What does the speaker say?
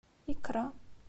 икра